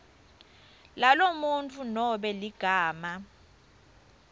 lalomuntfu nobe ligama